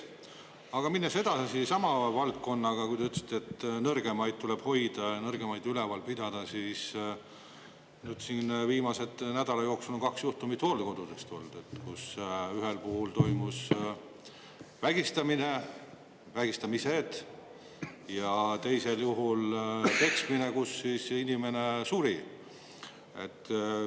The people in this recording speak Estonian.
Aga minnes edasi sama valdkonnaga, kui te ütlesite, et nõrgemaid tuleb hoida ja nõrgemaid üleval pidada, siis viimase nädala jooksul on kaks juhtumit hooldekodudest olnud, kus ühel puhul toimus vägistamine, vägistamised ja teisel juhul peksmine, kus inimene suri.